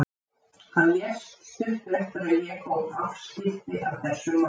Hann lést stuttu eftir að ég hóf afskipti af þessum málum.